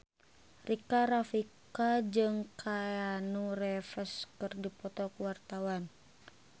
Rika Rafika jeung Keanu Reeves keur dipoto ku wartawan